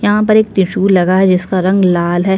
यह पर एक त्रिसूल लगा है जिसका रंग लाल हैं।